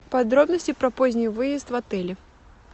подробности про поздний выезд в отеле